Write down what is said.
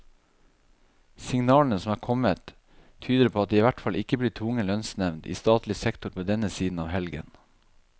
Signalene som er kommet, tyder på at det i hvert fall ikke blir tvungen lønnsnevnd i statlig sektor på denne siden av helgen.